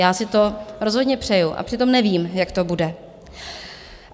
Já si to rozhodně přeju, a přitom nevím, jak to bude.